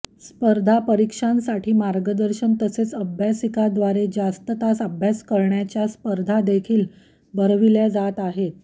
स्पर्धा परीक्षांसाठी मार्गदर्शन तसेच अभ्यासिकाद्वारे जास्त तास अभ्यास करण्याच्या स्पर्धा देखील भरविल्या जात आहेत